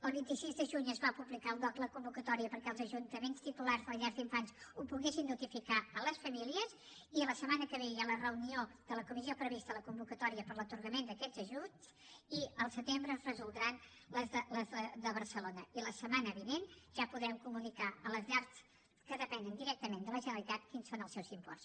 el vint sis de juny es va publicar al dogc la convocatòria perquè els ajuntaments titulars de les llars d’infants ho poguessin notificar a les famílies i la setmana que ve hi ha la reunió de la comissió prevista a la convocatòria per a l’atorgament d’aquests ajuts i al setembre es resoldran les de barcelona i la setmana vinent ja podrem comunicar a les llars que depenen directament de la generalitat quins són els seus imports